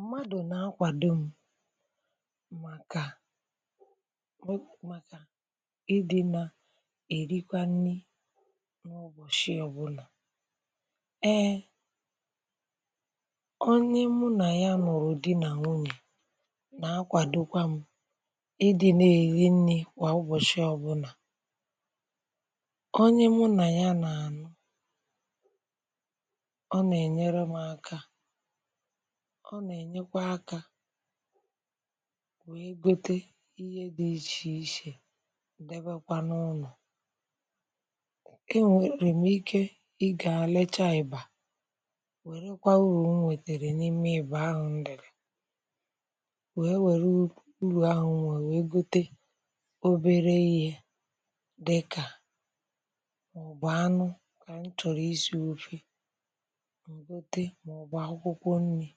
Mmadụ nà-akwàdọ m màkà màkà ị dị nà-èrikwa nni n’ụbọshị ọbụna. Ee, onye mụ nà ya nụrụ di nà nwunye nà-akwàdọkwa m ị dị nà-èri nri kwa ụbọshị ọbụna. Onye mụ nà ya nà-ànụ, ọ nà-ènyere m aka, ọ nà-ènyekwa akȧ wee gote ihe dị ichè ichè debekwa n’ụlọ. E nwèrè m ike ị gà lecha eba wère kwa urù nwètèrè n’ime ebụ ahụ nlèrè wee nwère urù ahụ nwee wèe gote obere inye dịkà, mà ọ bụ anụ kà m chọrọ isi ofe, mà ọ gote, mà ọ bụ akwụkwọ nni,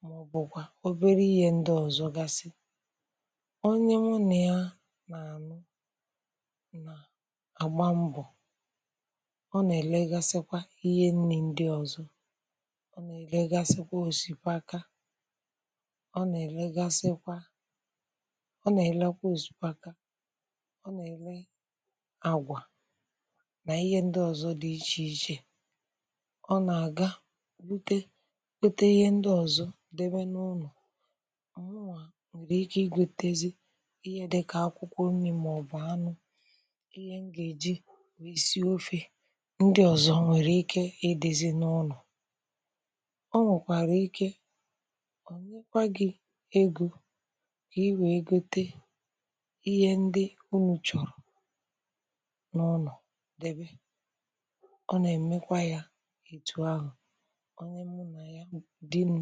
mà ọ bụ kwa obere ihe ndị ọzọ gasị. Onye mụ nà ya nà-ànụ na gba mbọ, ọ nà-èlegasịkwa ihe nni ndị ọzọ, ọ nà-èlegasịkwa òsìpaka, ọ nà-èlegasịkwa, ọ nà-èlekwa òsìpaka, ọ nà-èle àgwà nà ihe ndị ọzọ dị ichè ichè, ọ nà-àga gote gote ihe ndị ọzọ debe n’ụnọ, mụwa nwere ike ịgotezi ihe dịkà akwụkwọ nni mà ọ bụ anụ, ihe m ga-eji nwe sie ofe, ndị ọzọ o nwere ike ịdịzi n’ụnọ. Ọ nwekwara ike onyekwa gị egọ ka ị wee gote ihe ndị ụnụ chọrọ n’ụnọ debe. Ọ na-emekwa ya etu ahụ, onye mụ na ya, dị m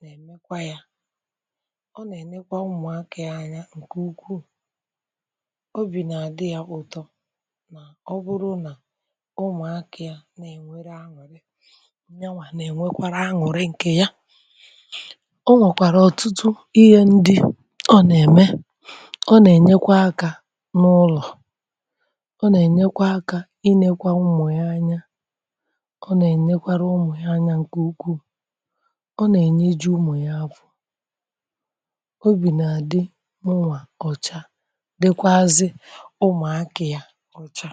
na-emekwa ya, ọ na-ènekwa mmụakà ya anya ǹkè ukwuu, ọbì na-àdị ya ụtọ na ọ bụrụ nà ụmụakà ya na-ènwere anwụrị, nyawa nà-ènwekwara anwụrị ǹkè ya. O nwekwàrà ọtụtụ ihe ndị ọ nà-ème, ọ nà-ènyekwa akà n’ụlọ, ọ na-ènyekwa akà ịnekwa mmụ ya anya, ọ nà-ènyekwàrà mmụ ha anya ǹkè ukwuu, ọ nà-ènye jụ ụmụ ya afo, obì nà-àdị mụwa ọcha dịkwazị ụmụakà ya ọcha.